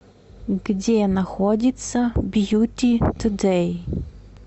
где находится бьюти тудэй